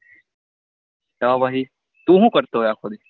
તો પછી તુ શુ કરતો હોય અખો દી?